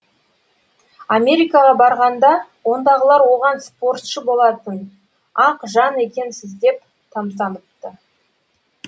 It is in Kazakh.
америкаға барғанда ондағылар оған спортшы болатын ақ жан екенсіз деп тамсаныпты